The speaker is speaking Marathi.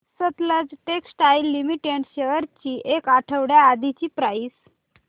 सतलज टेक्सटाइल्स लिमिटेड शेअर्स ची एक आठवड्या आधीची प्राइस